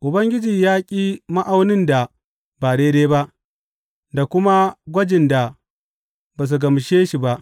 Ubangiji ya ƙi ma’aunin da ba daidai ba, da kuma magwajin da ba su gamshe shi ba.